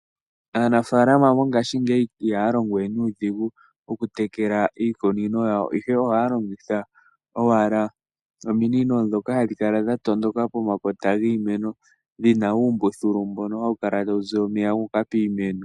Aanafalama mongashingeyi ihaya longo we nuudhigu oku tekela iikunino yawo ihe ohaya longitha owala ominino ndhoka hadhi kala dha tondoka pomakota giimeno ndhina uumbululu mbono hawu kala tawu ziya omeya guuka piimeno.